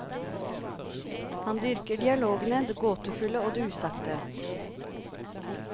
Han dyrker dialogene, det gåtefulle og det usagte.